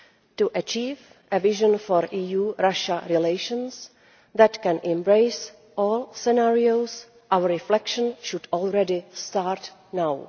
To achieve a vision for EU Russia relations that can embrace all scenarios, our reflection should already start now.